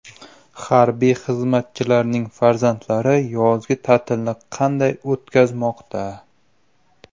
Harbiy xizmatchilarning farzandlari yozgi ta’tilni qanday o‘tkazmoqda?.